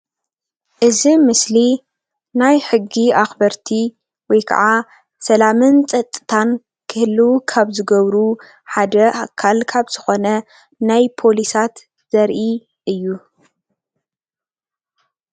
እዚ ኣብ ምስሊ ናይ ሕጊ ኣኽበርቲ ወይካዓ ሰላምን ፀፅታን ክህልዉ ካብ ዝገብሩ ሓደ ኣካል ካብ ዝኾነ ናይ ፖሊሳት ዘርኢ እዩ፡፡